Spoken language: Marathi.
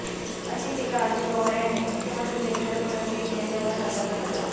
अशी टीका अजित पवार यांनी मुख्यमंत्री देवेंद्र फडणवीस यांच्यावर हल्ला चढवला